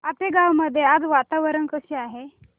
आपेगाव मध्ये आज वातावरण कसे आहे